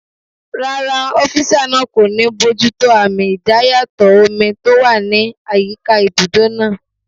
Rárá, ọ́físà náà kò ní bojútó àmì idayàtọ̀ omi tó wà ní àyíká ibùdó náà